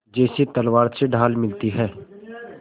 जैसे तलवार से ढाल मिलती है